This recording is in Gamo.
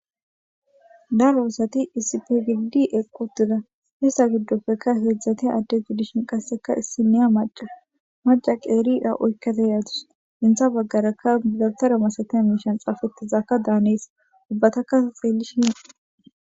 Daroosati isipgidi eqotida hista giddopfekka heedzdzate addegudishin qasseka issi niya maca maca qeeria uykkateyaatus inta baggarakka bilatara masate miishan xaafettizaakka daanees ubbataka xeellishi.